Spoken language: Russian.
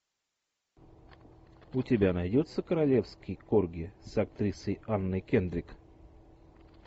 у тебя найдется королевский корги с актрисой анной кендрик